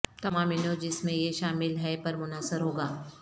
تمام انو جس میں یہ شامل ہے پر منحصر ہوگا